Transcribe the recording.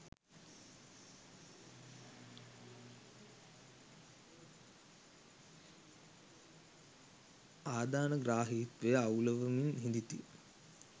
ආධානග්‍රාහීත්වය අවුළුවමින් හිඳිති